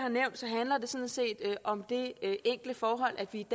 har det sådan set om det enkle forhold at vi